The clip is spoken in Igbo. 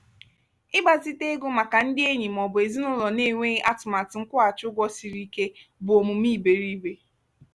ịgbazite ego maka ndị enyi ma ọ bụ ezinụlọ na-enweghị atụmatụ nkwụghachi ụgwọ siri ike bụ omume iberiibe.